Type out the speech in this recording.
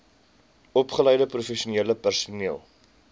opgeleide professionele personeel